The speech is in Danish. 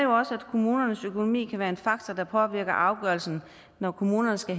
kommunernes økonomi kan være en faktor der påvirker afgørelsen når kommunerne skal